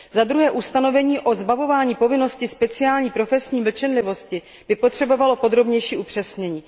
Za druhé ustanovení o zbavování povinnosti speciální profesní mlčenlivosti by potřebovalo podrobnější upřesnění.